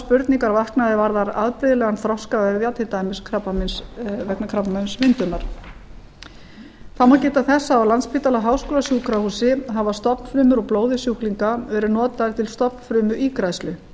spurningar vaknað er varða afbrigðilegan þroska vefja til dæmis vegna krabbameinsmyndunar þá má geta þess að á landspítala háskólasjúkrahúsi hafa stofnfrumur úr blóði sjúklinga verið notaðar til stofnfrumuígræðslu